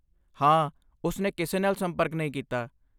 ਹਾਂ, ਉਸਨੇ ਕਿਸੇ ਨਾਲ ਸੰਪਰਕ ਨਹੀਂ ਕੀਤਾ।